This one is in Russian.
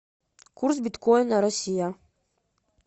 курс биткоина россия